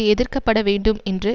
எதிர்க்கப்படவேண்டும் என்ற